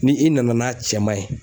Ni i nana n'a cɛman ye